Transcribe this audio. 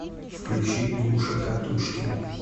включи гуша катушкин